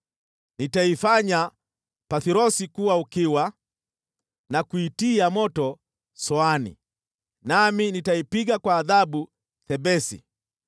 Nitaifanya Pathrosi kuwa ukiwa na kuitia moto Soani, nami nitaipiga kwa adhabu Thebesi